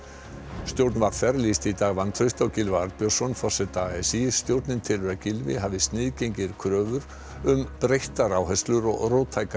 stjórn v r lýsti í dag vantrausti á Gylfa Arnbjörnsson forseta a s í stjórnin telur að Gylfi hafi sniðgengið kröfur um breyttar áherslur og róttækari